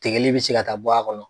Tigɛli bɛ se ka taa bɔ a kɔnɔ.